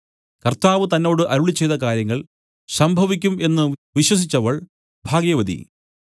കർത്താവ് തന്നോട് അരുളിച്ചെയ്ത കാര്യങ്ങൾ സംഭവിക്കും എന്നു വിശ്വസിച്ചവൾ ഭാഗ്യവതി